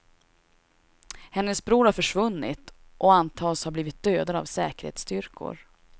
Hennes bror har försvunnit och antas ha blivit dödad av säkerhetsstyrkor.